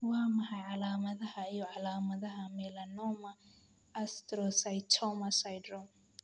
Waa maxay calaamadaha iyo calaamadaha Melanoma astrocytoma syndrome?